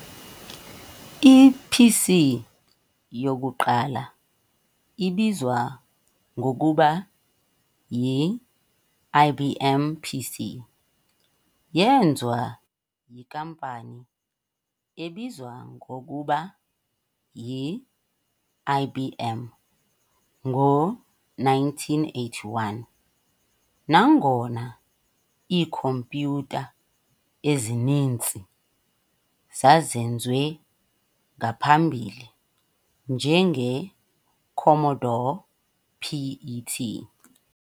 I-PC yokuqala ibizwa ngokuba yi-"IBM PC" yeenziwa yinkampani ebizwa ngokuba yi-IBM ngo-1981, nangona iikhompyutha ezininzi zazenziwe ngaphambili njenge-Commodore PET.